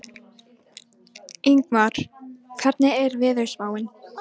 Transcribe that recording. Ingmar, hvernig er veðurspáin?